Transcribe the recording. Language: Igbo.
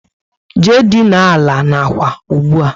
Jee dina àlà n'ákwà ụgbụa!